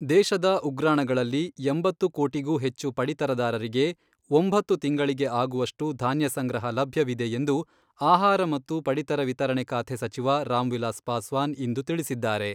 ದೇಶದ ಉಗ್ರಾಣಗಳಲ್ಲಿ ಎಂಬತ್ತು ಕೋಟಿಗೂ ಹೆಚ್ಚು ಪಡಿತರದಾರರಿಗೆ ಒಂಬತ್ತು ತಿಂಗಳಿಗೆ ಆಗುವಷ್ಟು ಧಾನ್ಯ ಸಂಗ್ರಹ ಲಭ್ಯವಿದೆ ಎಂದು ಆಹಾರ ಮತ್ತು ಪಡಿತರ ವಿತರಣೆ ಖಾತೆ ಸಚಿವ ರಾಮ್ವಿಲಾಸ್ ಪಾಸ್ವಾನ್ ಇಂದು ತಿಳಿಸಿದ್ದಾರೆ.